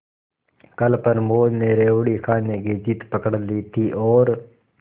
कल प्रमोद ने रेवड़ी खाने की जिद पकड ली थी और